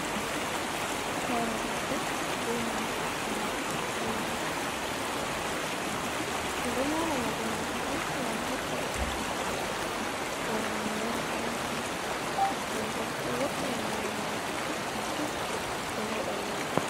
Hore debbo benanta morɗi wibin, ɗum ɗo mora morɗi majum on gam hokka goɗɗo bo sosel hore mum yara hendu, den bo ɗo woina hore man masin de woɗa yiwugo.